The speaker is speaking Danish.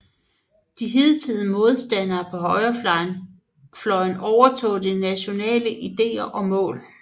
De hidtidige modstandere på højrefløjen overtog de nationale ideer og mål